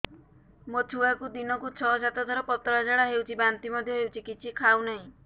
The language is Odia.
ମୋ ଛୁଆକୁ ଦିନକୁ ଛ ସାତ ଥର ପତଳା ଝାଡ଼ା ହେଉଛି ବାନ୍ତି ମଧ୍ୟ ହେଉଛି କିଛି ଖାଉ ନାହିଁ